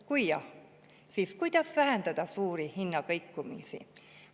Kui jah, siis kuidas vähendada suuri hinnakõikumisi?